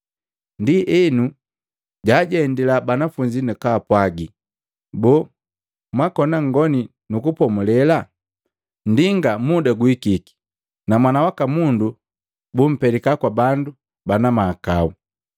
Ndienu jaajendila banafunzi nakapwaji, “Boo, mwakona nngoni nukupomulela? Nndinga muda guhikiki na Mwana waka Mundu bumpeleka kwa bandu bana mahakau.